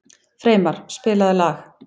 Freymar, spilaðu lag.